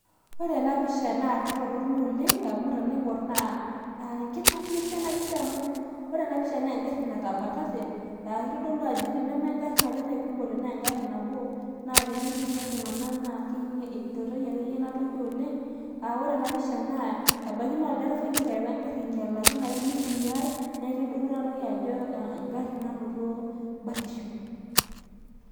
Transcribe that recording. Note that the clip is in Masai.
ore ena pisha naa kitoronok oleng' amu tenaing'or naa egari natabatate naa kitodolu ajo teneme igarin are naikumote naa egari nabo, naa tenetii ninye iltung'anak naa iturayie akeyie enatoki oleng' aa ore ena pisha naa ebaki naa olderefai oterewa egari ang'ialaki neeku kitodolu ajo egari nanoto batisho.